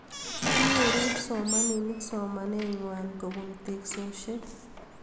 Nyoru kipsomaninik somanet ngwai kobun teksosiek